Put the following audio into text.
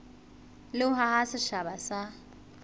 le ho haha setjhaba sa